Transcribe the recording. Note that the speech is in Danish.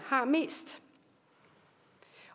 har mest